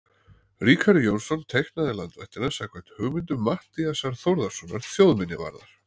Ríkharður Jónsson teiknaði landvættina samkvæmt hugmyndum Matthíasar Þórðarsonar þjóðminjavarðar.